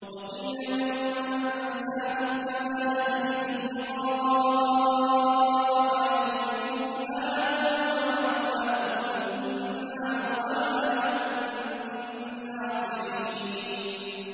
وَقِيلَ الْيَوْمَ نَنسَاكُمْ كَمَا نَسِيتُمْ لِقَاءَ يَوْمِكُمْ هَٰذَا وَمَأْوَاكُمُ النَّارُ وَمَا لَكُم مِّن نَّاصِرِينَ